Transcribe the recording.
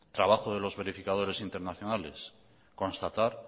trabajo de los verificadores internacionales constatar